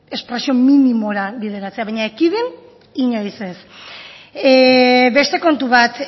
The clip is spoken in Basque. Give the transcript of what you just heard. espresio minimora bideratzea baina ekidin inoiz ez beste kontu bat